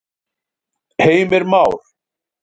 Heimir Már: En árið í fyrra, það var líka dálítið bagalegt?